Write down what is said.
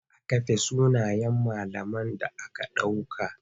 Za a kafe sunayen malaman da aka ɗauka.